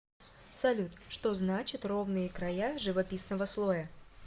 салют что значит ровные края живописного слоя